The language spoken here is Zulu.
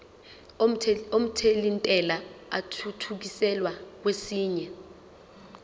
omthelintela athuthukiselwa kwesinye